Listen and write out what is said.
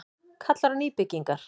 Kallar á nýbyggingar